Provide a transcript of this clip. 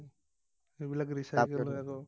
সেইবিলাক recycle